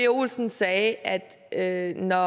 olsen sagde at at når